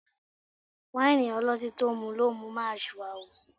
Wáìnì ọlọ́tín tó mú lo mú ń máa ṣìwàhù